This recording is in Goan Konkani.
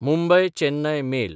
मुंबय–चेन्नय मेल